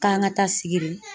K'an ka taa sigiri.